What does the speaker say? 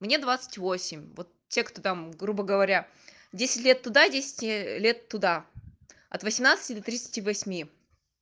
мне двадцать восемь вот те кто там грубо говоря десять лет туда десять лет туда от восемнадцати до тридцати восьми